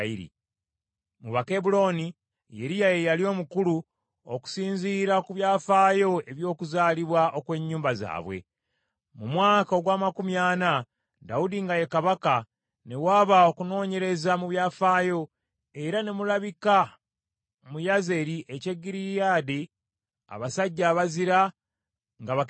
Mu Bakebbulooni, Yeriya ye yali omukulu, okusinziira ku byafaayo eby’okuzaalibwa okw’ennyumba zaabwe. Mu mwaka ogw’amakumi ana Dawudi nga ye kabaka, ne waba okunoonyereza mu byafaayo, era ne mulabika mu Yazeri eky’e Gireyaadi abasajja abazira ng’Abakebbulooni.